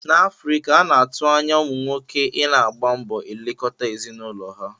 N'Afrika, a na-atụ anya ụmụ nwoke I na-agba mbọ elekọta ezinụlọ ha.